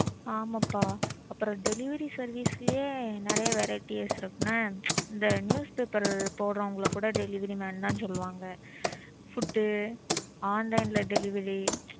ஆமாப்பா அப்புறம் delivery service லயே நறைய varieties இருக்கு என்ன? இந்த newspaper போட்றவங்கள கூட delivery man தான் சொல்வாங்க. Food online ல delivery.